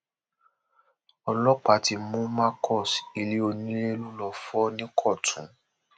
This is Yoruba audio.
ọlọpàá ti mú marcus ilé onílé lọ lọọ fọ nìkọtun